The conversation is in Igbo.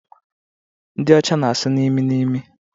Ndi ọcha na asụ n'imi n'imi